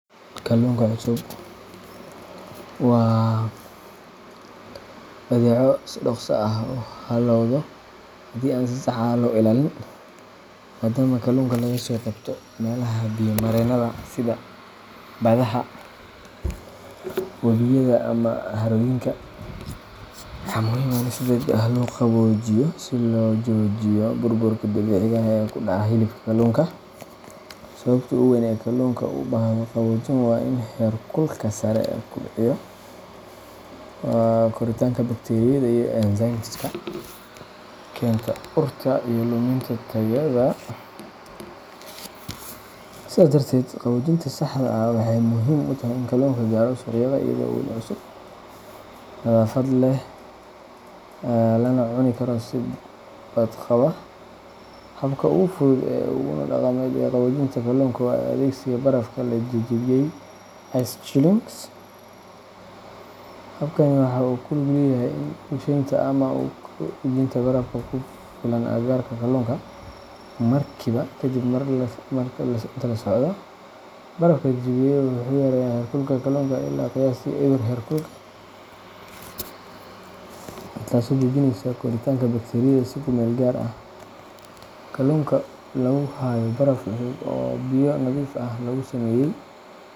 Kalluunka cusub waa badeeco si dhaqso ah u hallowda haddii aan si sax ah loo ilaalin. Maaddaama kalluunka laga soo qabto meelaha biyo-mareenada sida badaha, webiyada, ama harooyinka, waxaa muhiim ah in si degdeg ah loo qaboojiyo si loo joojiyo burburka dabiiciga ah ee ku dhaca hilibka kalluunka. Sababta ugu weyn ee kalluunka u baahdo qaboojin waa in heerkulka sare uu kobciyo koritaanka bakteeriyada iyo enzymeska keena urta iyo luminta tayada. Sidaas darteed, qaboojinta saxda ah waxay muhiim u tahay in kalluunku gaaro suuqyada iyadoo wali cusub, nadaafad leh, lana cuni karo si badqaba. Habka ugu fudud uguna dhaqameed ee qaboojinta kalluunka waa adeegsiga barafka la jajabiyey ice chilling. Habkani waxa uu ku lug leeyahay ku rusheynta ama ku dhejinta baraf ku filan agagaarka kalluunka markiiba kadib marka la soo qabto. Barafka la jajabiyey wuxuu yareeyaa heerkulka kalluunka ilaa qiyaastii eber herkulka , taasoo joojinaysa koritaanka bakteeriyada si ku meel gaar ah. Kalluunka lagu hayo baraf cusub oo biyo nadiif ah lagu sameeyay.